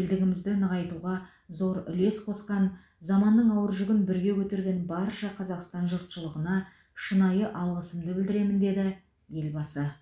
елдігімізді нығайтуға зор үлес қосқан заманның ауыр жүгін бірге көтерген барша қазақстан жұртшылығына шынайы алғысымды білдіремін деді елбасы